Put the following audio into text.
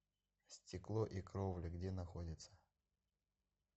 стекло и кровля где находится